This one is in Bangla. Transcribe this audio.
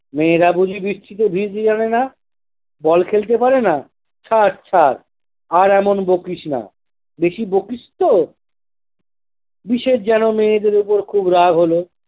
মেয়েরা বুঝি বৃষ্টিতে ভিজতে জানে নাহ? ball খেলতে পারে না? থাক, থাক আর এমন বকিস না। বেশি বকিস তো দিশের যেনো মেয়েদের ওপর খুব রাগ হলো।